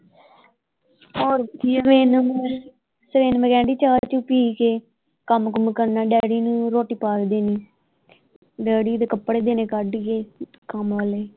ਹੋਰ ਚਾਹ ਚੂਹ ਪੀ ਕੇ ਕੰਮ ਕੁੰਮ ਕਰਨਾ ਡੈਡੀ ਨੂੰ ਰੋਟੀ ਪਾ ਕੇ ਦੇਣੀ ਡੈਡੀ ਦੇ ਕੱਪੜੇ ਦੇਣੇ ਕੱਢ ਕੇ ਕੰਮ ਆਲੇ।